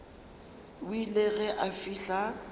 o ile ge a fihla